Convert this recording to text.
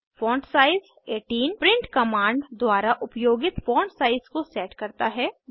font size 18 print command द्वारा उपयोगित font size को सेट करता है